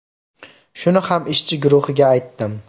Shuni ham ishchi guruhiga aytdim.